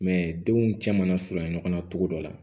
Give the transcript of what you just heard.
denw cɛ mana surunya ɲɔgɔn na cogo dɔ la